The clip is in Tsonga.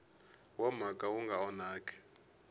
wa mhaka wu nga onhaki